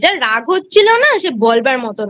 যা রাগ হচ্ছিল না সে বলবার মতনা